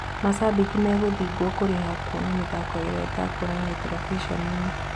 Macambĩki megũthĩngwo kũrĩha kuona mĩthako ĩrĩa ĩtekuonanio terebiceni-ĩnĩ.